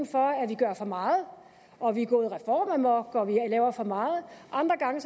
for at vi gør for meget at vi er gået reformamok at vi laver for meget og andre gange